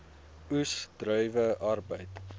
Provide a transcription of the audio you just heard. oes druiwe arbeid